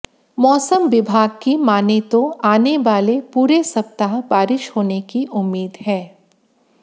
मौसम विभाग की माने तो आने वाले पूरे सप्ताह बारिश होने की उम्मीद है